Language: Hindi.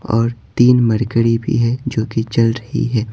और तीन मरकड़ी भी हैजो कि चल रही है।